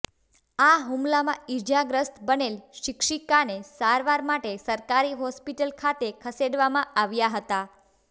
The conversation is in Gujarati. આ હુમલામાં ઈજાગ્રસ્ત બનેલ શિક્ષિકાને સારવાર માટે સરકારી હોસ્પીટલ ખાતે ખસેડવામા આવ્યા હતા